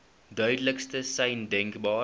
duidelikste sein denkbaar